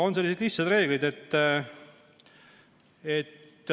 On sellised lihtsad reeglid.